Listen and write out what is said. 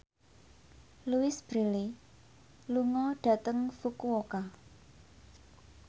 Louise Brealey lunga dhateng Fukuoka